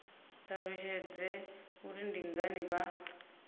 ṱalutshedze uri ndi ngani vha